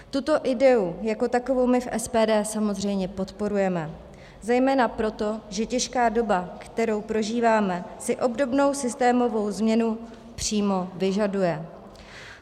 Tuto ideu jako takovou my v SPD samozřejmě podporujeme, zejména proto, že těžká doba, kterou prožíváme, si obdobnou systémovou změnu přímo vyžaduje.